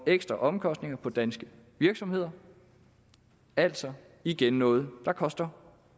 ekstraomkostninger på danske virksomheder altså igen noget der koster